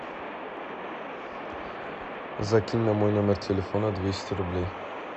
закинь на мой номер телефона двести рублей